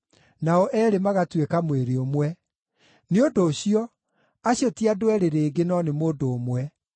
nao eerĩ magatuĩka mwĩrĩ ũmwe.’ Nĩ ũndũ ũcio, acio ti andũ eerĩ rĩngĩ, no nĩ mũndũ ũmwe.